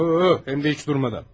Həm də heç dayanmadan.